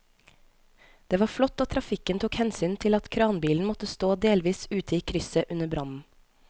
Det var flott at trafikken tok hensyn til at kranbilen måtte stå delvis ute i krysset under brannen.